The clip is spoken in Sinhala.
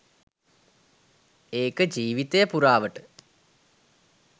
ඒක ජීවීතය පුරාවට